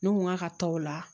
Ne ko n k'a ka tɔ la